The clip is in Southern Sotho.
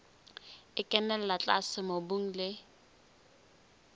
e kenella tlase mobung le